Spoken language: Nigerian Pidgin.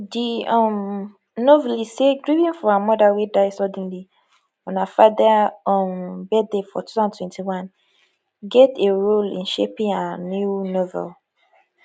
di um novelist say grieving for her mother wey die suddenly on her father um birthday for 2021 get a role in shaping her new novel